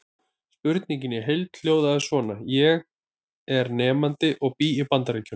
Spurningin í heild sinni hljóðaði svona: Ég er nemandi og ég bý í Bandaríkjum.